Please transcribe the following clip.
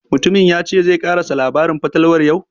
Mutumin ya ce zai ƙarasa labarin fatalwar yau?